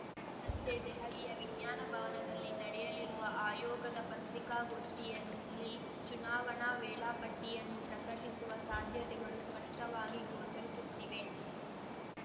ಸಂಜೆ ದೆಹಲಿಯ ವಿಜ್ಞಾನ ಭವನದಲ್ಲಿ ನಡೆಯಲಿರುವ ಆಯೋಗದ ಪತ್ರಿಕಾಗೋಷ್ಠಿಯಲ್ಲಿ ಚುನಾವಣಾ ವೇಳಾ ಪಟ್ಟಿಯನ್ನು ಪ್ರಕಟಿಸುವ ಸಾಧ್ಯತೆಗಳು ಸ್ಪಷ್ಟವಾಗಿ ಗೋಚರಿಸುತ್ತಿವೆ